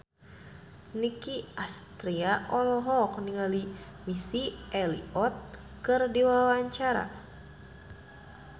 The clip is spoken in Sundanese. Nicky Astria olohok ningali Missy Elliott keur diwawancara